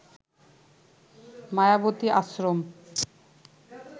Mayawati Ashram